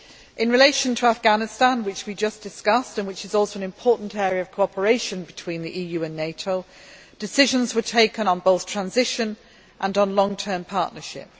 In relation to Afghanistan, which we just discussed and which is also an important area of cooperation between the EU and NATO, decisions were taken on both transition and on long term partnership.